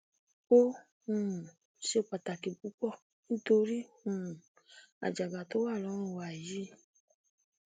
ó um ṣe pàtàkì púpọ nítorí um àjàgà tó wà lọrùn wa yìí